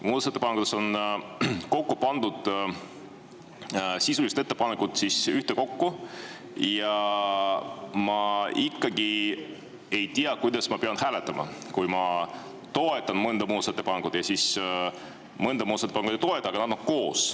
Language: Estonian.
Muudatusettepanekutes on kokku pandud sisulised ettepanekud ja ma ikkagi ei tea, kuidas ma pean hääletama, kui ma mõnda muudatusettepanekut toetan, mõnda muudatusettepanekut ei toeta, aga nad on koos.